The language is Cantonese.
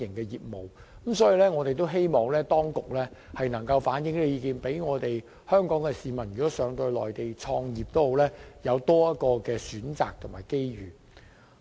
因此，我們希望當局能反映意見，可讓前往內地創業的港人有多一個選擇和機遇。